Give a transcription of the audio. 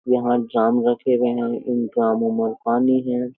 यहां ड्राम रखे हुए हैं इन ग्रामों में पानी है।